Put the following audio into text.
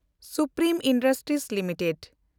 supreme Industries limited